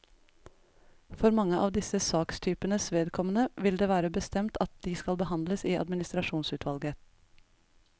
For mange av disse sakstypenes vedkommende vil det være bestemt at de skal behandles i administrasjonsutvalget.